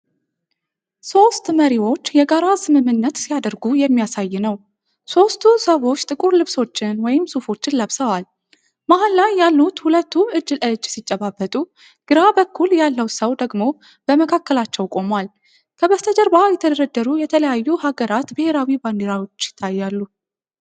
ሶስት መሪዎች የጋራ ስምምነት ሲያደርጉ የሚያሳይ ነው። ሦስቱ ሰዎች ጥቁር ልብሶችን (ሱፎችን) ለብሰዋል። መሃል ላይ ያሉት ሁለቱ እጅ ለእጅ ሲጨባበጡ፣ ግራ በኩል ያለው ሰው ደግሞ በመካከላቸው ቆሟል። ከበስተጀርባ የተደረደሩ የተለያዩ ሀገራት ብሔራዊ ባንዲራዎች ይታያሉ።